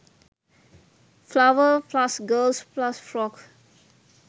flower+girls+frock